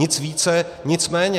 Nic více, nic méně.